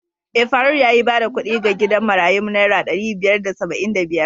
Eh, faruk yayi bada kuɗi ga gidan marayun naira ɗari biyar da saba'in da biyar.